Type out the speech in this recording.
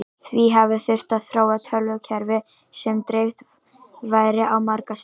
Því hafi þurft að þróa tölvukerfi sem dreift væri á marga staði.